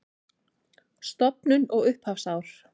Stofnun og upphafsár